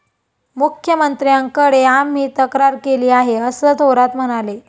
मुख्यमंत्र्यांकडे आम्ही तक्रार केली आहे, असं थोरात म्हणाले.